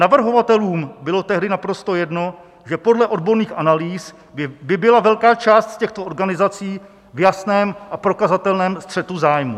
Navrhovatelům bylo tehdy naprosto jedno, že podle odborných analýz by byla velká část z těchto organizací v jasném a prokazatelném střetu zájmu.